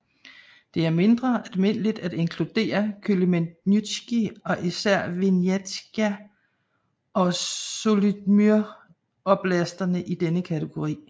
Det er mindre almindeligt at inkludere Khmelnytski og især Vinnitsja og Zhytomyr oblasterne i denne kategori